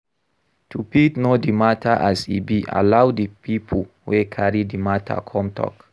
To fit know di matter as e be, allow di pipo wey carry the matter come talk